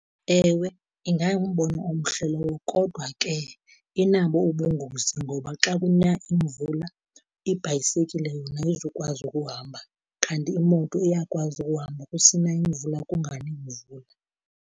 Ewe, ingangumbono omhle lowo kodwa ke inabo ubungozi ngoba xa kuna imvula ibhayisekile yona ayizukwazi ukuhamba, kanti imoto iyakwazi ukuhamba kusina imvula kungani mvula.